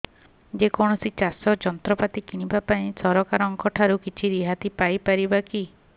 ଯେ କୌଣସି ଚାଷ ଯନ୍ତ୍ରପାତି କିଣିବା ପାଇଁ ସରକାରଙ୍କ ଠାରୁ କିଛି ରିହାତି ପାଇ ପାରିବା କି